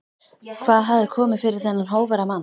Hvað hafði komið fyrir þennan hógværa mann?